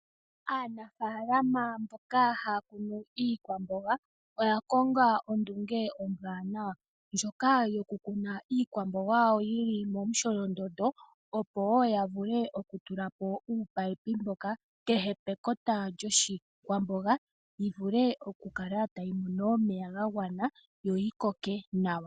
Aanafaalama mboka haya kunu iikwamboga oya konga ondunge ombwanawa ndjoka yoku kuna iikwamboga yawo yili momusholondondo, opo ya vulu okutula po uumunino kehe pekota lyoshikwamboga yi vule oku kala tayi mono omeya ga gwana yo yi koke nawa.